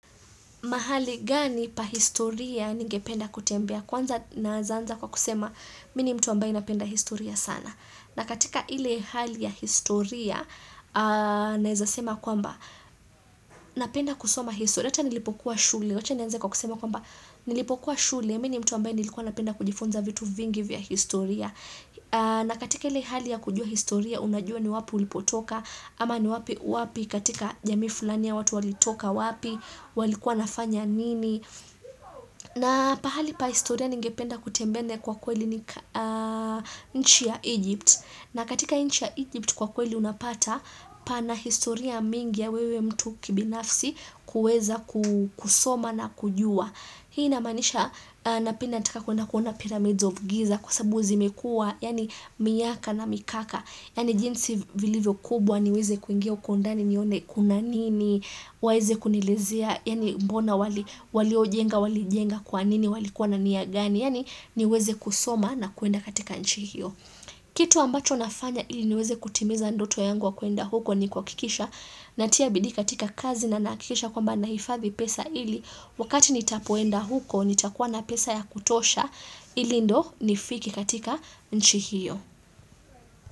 Mahali gani pahistoria ningependa kutembea kwanza nawezaanza kwa kusema mimini mtu ambaye napenda historia sana. Na katika ile hali ya historia nawezasema kwamba napenda kusoma historia. Hata nilipokuwa shule. Wacha nianze kwa kusema kwamba nilipokuwa shule. Mimini mtu ambaye nilikuwa napenda kujifunza vitu vingi vya historia. Na katika ile hali ya kujua historia unajua ni wapi ulipotoka. Ama ni wapi wapi katika jamii fulaniya watu walitoka wapi walikuwa nafanya nini na pahali pa historia ningependa kutembea kwa kweli ni nchi ya Egypt na katika nchi ya Egypt kwa kweli unapata pana historia mingi ya wewe mtu kibinafsi kuweza kusoma na kujua Hii na imaanisha napianataka kwendakuona pyramids of giza Kwa sababu zimekua yaani miaka na mikaka Yaani jinsi vilivyo kubwa niweze kuingia hukondani nione kuna nini, waweze kunielezea, yaani mbona wali ojenga, wali jenga kwa nini, walikuwa nania gani, yaani niweze kusoma na kwenda katika nchihio. Kitu ambacho nafanya ili niweze kutimiza ndoto yangu wa kwenda huko ni kuha kikisha natiabidii katika kazi na nahakikisha kwamba nahifadhi pesa ili, wakati nitapoenda huko nitakuwa na pesa ya kutosha ili ndo nifike katika nchihio.